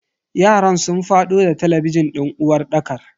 yaran sun fado da talabijin din uwarɗakar.